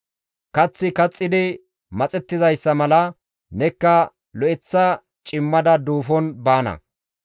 Kaththi kaxxidi maxettizayssa mala nekka lo7eththa cimmada duufon baana.